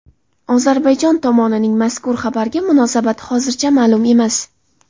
Ozarbayjon tomonining mazkur xabarga munosabati hozircha ma’lum emas.